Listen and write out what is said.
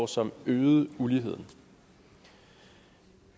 som øgede uligheden